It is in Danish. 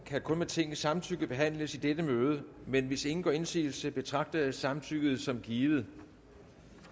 kan kun med tingets samtykke behandles i dette møde men hvis ingen gør indsigelse betragter jeg samtykket som givet